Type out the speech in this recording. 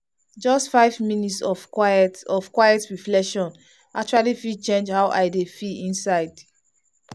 just five minutes of quiet of quiet reflection actually fit change how i dey feel inside.